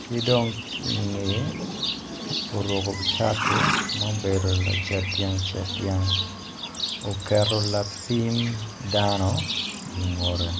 ki dong ki i ngeye oruku cati ma obedo lacet dyang cet dyang uketo lapim dano i ngutte